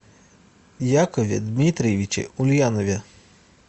якове дмитриевиче ульянове